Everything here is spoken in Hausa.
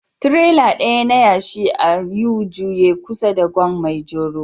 Tirela ɗaya na yashi a U-Juye kusa da Gwan maijoro